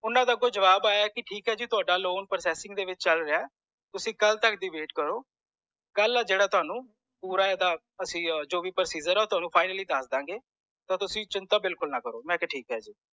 ਊਨਾ ਦਾ ਅਗੋ ਜਵਾਬ ਆਯਾ ਕਿ ਠੀਕ ਹੈ ਜੀ ਥੌਡ਼ਾ processing ਦੇ ਵਿਚ ਚਲ ਰਿਹਾ ਤੁਸੀ ਕਲ ਤਕ ਦਿ wait ਕਰੋ ਕਲ ਆ ਜੇੜਾ ਤੁਹਾਨੂੰ ਪੂਰਾ ਏ ਇਹਦਾ ਅਸੀਂ ਜੋ ਵੀ procedure ਆ ਉਹ ਤੁਹਾਨੂੰ ਅਸੀਂ finally ਦਸ ਦੰਗੇ so ਤੁਸੀ ਚਿੰਤਾ ਬਿਲਕੁਲ ਨਾ ਕਰੋ